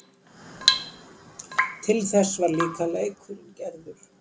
Til þess var líka leikurinn gerður.